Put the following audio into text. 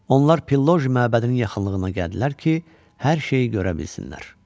Onlar Pilloje məbədinin yaxınlığına gəldilər ki, hər şeyi görə bilsinlər.